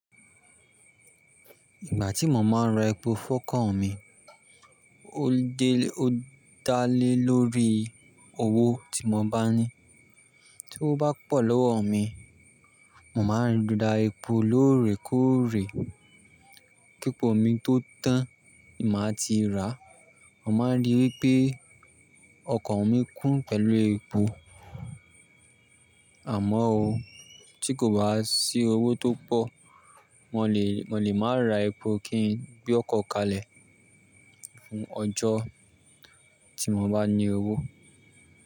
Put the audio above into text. Ìgbà tí mo máa ń ra epo fọ́kàn mi, ó dálé lórí owó tí mo bá ní. Tí ó bá pọ̀ lọ́wọ mi, mo máa ń ra epo lóòrèkóòrè. Kí epo mi tó tán, ni màá ti ràá. Mo máa ń ríi wípé ọkọ̀ mi kún pẹ̀lú epo. Àmọ́ ó, tí kò bá sí owó tó pọ̀, mo le-- mo lè má ra epo, kí n gbe ọkọ kalẹ̀ fún ọjọ́ tí mo bá ní owó.